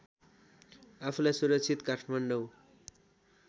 आफूलाई सुरक्षित काठमाडौँ